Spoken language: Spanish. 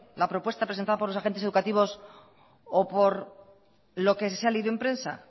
la propuesta presentada por los agentes educativos o por lo que ha salido en prensa